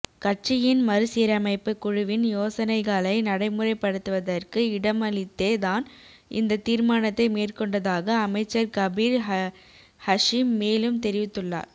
கட்சியின் மறுசீரமைப்பு குழுவின் யோசனைகளை நடைமுறைப்படுத்துவதற்கு இடமளித்தே தான் இந்த தீர்மானத்தை மேற்கொண்டதாக அமைச்சர் கபீர் ஹஷீம் மேலும் தெரிவித்துள்ளார்